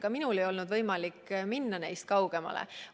Ka minul ei olnud võimalik minna neist kaugemale.